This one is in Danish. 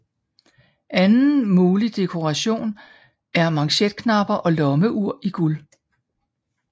Anden mulig dekoration er manchetknapper og lommeur i guld